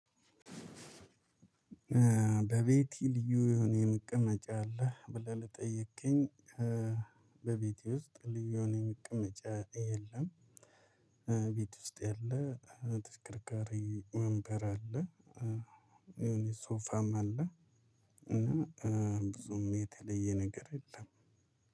በቤቴ ልዩ የሆነ የመቀመጫ አለ ብለህ ለጠየከኝ? በቤቴ ውስጥ ልዩ የሆነ የሚቀመጫ የለም። ቤት ውስጥ ያለ ተሽከርካሪ ወንበር አለ። የሆነ ሶፋም አለ። እና ብዙም የተለየ ነገር የለም።